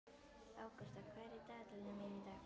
Ágústa, hvað er í dagatalinu mínu í dag?